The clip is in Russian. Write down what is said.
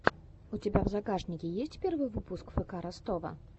у тебя в загашнике есть первый выпуск фк ростова